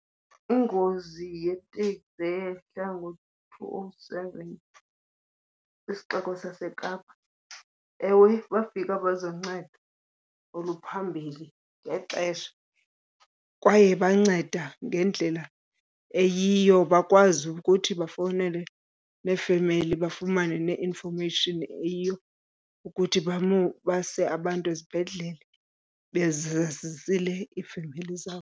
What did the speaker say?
Ingozi yeteksi eyehla ngo-two oh seven kwisixeko saseKapa, ewe bafika abezoncedo oluphambili ngexesha kwaye banceda ngendlela eyiyo, bakwazi ukuthi bafowunele neefemeli bafumane ne-information eyiyo ukuthi base abantu ezibhedlele bezazisile iifemeli zabo.